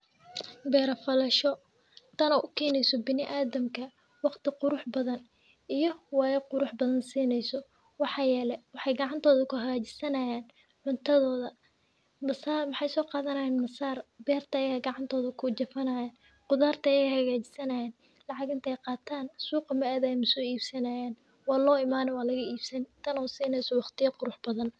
Beera falasho tan oo u keneso bilaadanka waqti qurax badan iyo waya qurux badan sineyso waxaa yele waxee gacabtodha kusamesaneysa cuntadhoda waxee soqadhanayan masar beerta ayey gacantidha kujafanayan qudharta ayey hagajisanayan Marke ee qatan suqa ayey adayan wey soibsanayan walo imani waa laga ibsani tan oo sini waqtiya qurux badan.